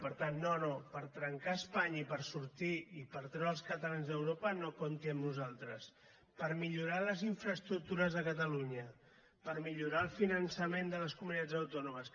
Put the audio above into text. per tant no no per trencar espanya i per sortir i per treure els catalans d’europa no compti amb nosaltres per millorar les infraestructures de catalunya per millorar el finançament de les comunitats autònomes